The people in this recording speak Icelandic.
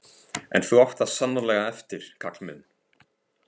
En þú átt það sannarlega eftir, kall minn.